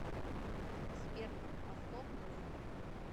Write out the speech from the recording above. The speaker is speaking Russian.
сбер повтор музыку